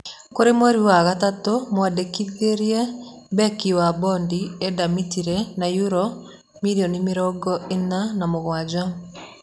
Kũrĩ mweri wa gatatũ, mamwandĩkithirie mbeki wa Bondo Eda Mirĩti na yuro million mĩrongo-ĩna na mũgwanja.